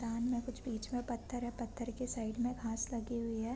तान हैं कुछ बिच में पत्थर है पत्थर के साइड में घाँस लगी हुई है।